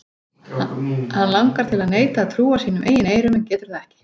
Hann langar til að neita að trúa sínum eigin eyrum en getur það ekki.